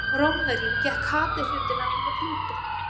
hjá rómverjum gekk hades undir nafninu plútó